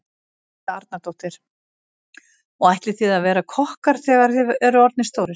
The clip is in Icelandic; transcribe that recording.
Helga Arnardóttir: Og ætlið þið að verða kokkar þegar þið eruð orðnir stórir?